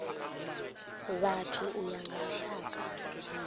vhathu u ya nga lushaka